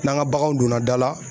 N'an ka baganw donna da la